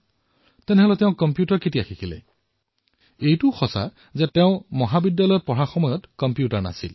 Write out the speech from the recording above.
তেন্তে তেওঁ কেতিয়া কম্পিউটাৰ শিকিলে এয়া সত্য যে তেওঁৰ মহাবিদ্যালয়ৰ সময়ত কম্পিউটাৰ নাছিল